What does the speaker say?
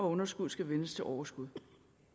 underskuddet skal vendes til overskud